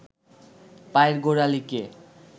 পায়ের গোড়ালিকে